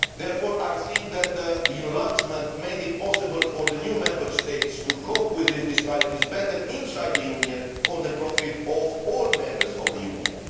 Therefore, I think that enlargement made it possible for the new Member States to cope with these disparities better inside the Union, for the profit of all Members of the Union.